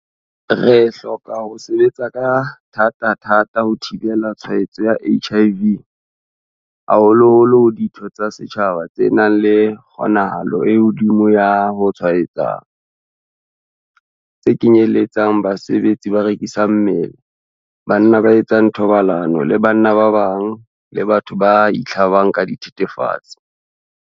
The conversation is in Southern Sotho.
Re hloka ho sebetsa ka thatathata ho thibela tshwaetso ya HIV haholoholo ho ditho tsa setjhaba tse nang le kgonahalo e hodimo ya ho tshwaetseha, tse kenyeletsang basebetsi ba rekisang mmele, banna ba etsang thobalano le banna ba bang, le batho ba itlhabang ka dithethefatsi.